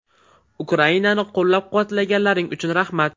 Ukrainani qo‘llab-quvvatlaganlaring uchun rahmat!